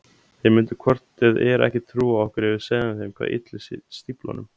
Þeir myndu hvort eð er ekki trúa okkur ef við segðum þeim hvað ylli stíflunum.